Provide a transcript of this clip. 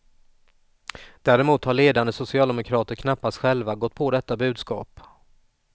Däremot har ledande socialdemokrater knappast själva gått på detta budskap.